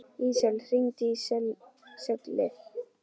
Ísól, hringdu í Söllu.